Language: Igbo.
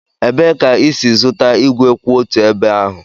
Ebee ka ị si zụta ígwè kwụ otu ebe ahụ?